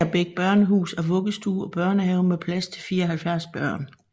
Agerbæk Børnehus er vuggestue og børnehave med plads til 74 børn